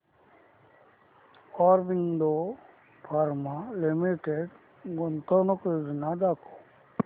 Aurobindo pharma limited गुंतवणूक योजना दाखव